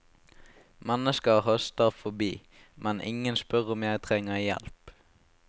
Mennesker haster forbi, men ingen spør om jeg trenger hjelp.